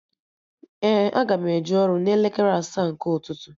Ee, aga m eje ọrụ n'elekere asaa nke ụtụtụ